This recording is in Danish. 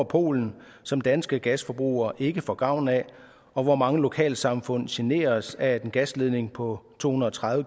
polen som danske gasforbrugere ikke får gavn af og hvor mange lokalsamfund generes af at en gasledning på to hundrede og tredive